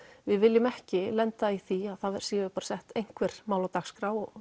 við viljum ekki lenda í því að það séu bara sett einhver mál á dagskrá og